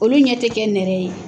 Olu ɲɛ tɛ kɛ nɛrɛ ye.